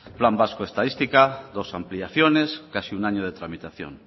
plan vasco de estadística dos ampliaciones casi un año de tramitación